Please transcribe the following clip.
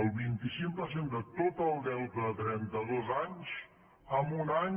el vint cinc per cent de tot el deute de trenta dos anys en un any